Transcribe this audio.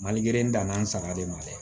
Mali in danna n saga de ma dɛ